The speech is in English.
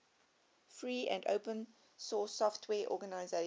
free and open source software organizations